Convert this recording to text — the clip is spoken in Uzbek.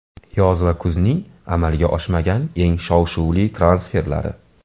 Yoz va kuzning amalga oshmagan eng shov-shuvli transferlari.